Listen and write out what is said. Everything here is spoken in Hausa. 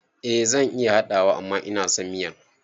Eh zan iya haɗawa amma inason miyan